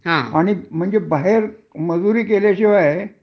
आणि म्हणजे बाहेर मजुरी केल्या शिवाय